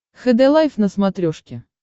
хд лайф на смотрешке